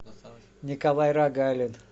николай рогалин